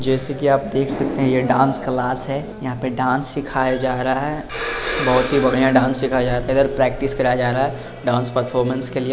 जैसे की आप देखे सकते हैं ये डांस क्लास हैं यहाँ पे डांस सिखाया जा रहा हैं बहुत ही बढ़िया डांस सिखाया जाता हैं इधर प्रैक्टिस कराया जा रहा हैं। डांस परफॉरमेंस के लिए --